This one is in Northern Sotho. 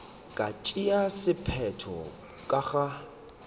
ka tšeago sephetho ka ga